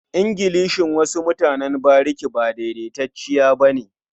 Ingilishin wasu mutanen bariki ba daidaitacce ba ne.